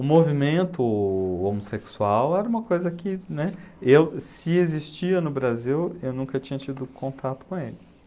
O movimento homossexual era uma coisa que, né, eu, se existia no Brasil, eu nunca tinha tido contato com ele.